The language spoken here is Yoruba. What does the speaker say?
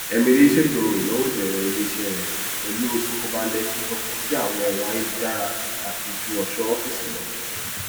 émilí ṣètò ináwó ìbẹrẹ ilé iṣẹ rẹ pẹlú ìfọkànbalẹ fífọkàn síi àwọn èrò ayélujára pàtàkì ju ọṣọ ọfíìsì lọ